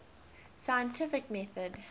scientific method